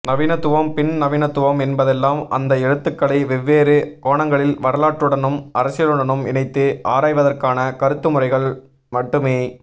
நவீனத்துவம் பின்நவீனத்துவம் என்பதெல்லாம் அந்த எழுத்துக்களை வெவ்வேறு கோணங்களில் வரலாற்றுடனும் அரசியலுடனும் இணைத்து ஆராய்வதற்கான கருத்துமுறைமைகள் மட்டுமே